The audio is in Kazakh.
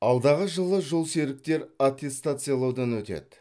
алдағы жылы жолсеріктер аттестациялаудан өтеді